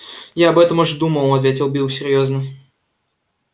я об этом уж думал ответил билл серьёзно